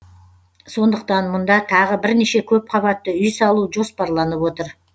сондықтан мұнда тағы бірнеше көпқабатты үй салу жоспарланып отыр